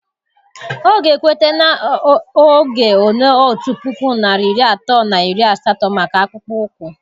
Ọ ga ekweta na oge ole otu puku narị iri atọ na iri asatọ maka akpụkpọ ụkwụ